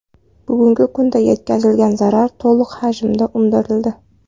Bugungi kunda yetkazilgan zarar to‘liq hajmda undirildi.